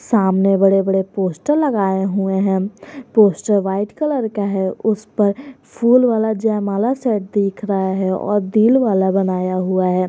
सामने बड़े बड़े पोस्टर लगाए हुए हैं पोस्टर व्हाइट कलर का है उस पर फूल वाला जयमाला सेट दिख रहा है और दिल वाला बनाया हुआ है।